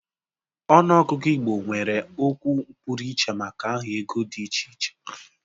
Ọnụ ọgụgụ Igbo nwere okwu pụrụiche maka aha ego dị iche iche.